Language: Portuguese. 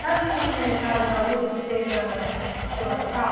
Sabe o cara Zóiúdo que tem na Zorra Total?